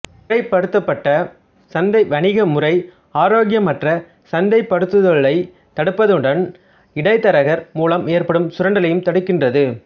முறைப்படுத்தப்பட்ட சந்தை வணிக முறை ஆரோக்கியமற்ற சந்தைப்படுத்துதலைத் தடுப்பதுடன் இடைத்தரகர் மூலம் ஏற்படும் சுரண்டலையும் தடுக்கின்றது